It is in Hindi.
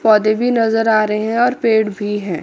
पौधे भी नजर आ रहे हैं और पेड़ भी हैं।